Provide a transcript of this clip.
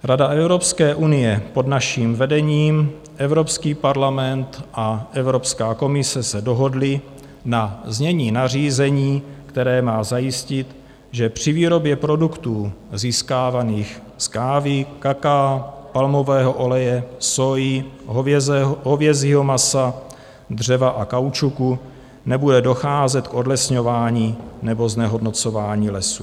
Rada Evropské unie pod naším vedením, Evropský parlament a Evropská komise se dohodly na znění nařízení, které má zajistit, že při výrobě produktů získávaných z kávy, kakaa, palmového oleje, sóji, hovězího masa, dřeva a kaučuku nebude docházet k odlesňování nebo znehodnocování lesů.